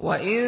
وَإِن